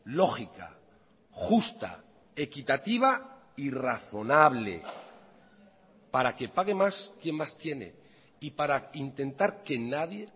lógica justa equitativa y razonable para que pague más quien más tiene y para intentar que nadie